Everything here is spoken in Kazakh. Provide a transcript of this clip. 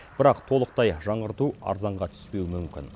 бірақ толықтай жаңғырту арзанға түспеуі мүмкін